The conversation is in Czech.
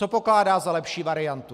Co pokládá za lepší variantu?